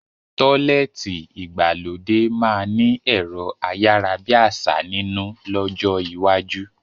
Tọ́lẹ́ẹ́tì ìgbàlódé máa ni ẹ̀rọ ayárábiàsà nínú lọ́jọ́ iwájú